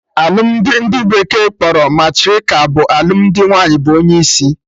Alụmdi ndị bekee kpọrọ matriarchal bụ alụmdi nwaanyị bụ onye isi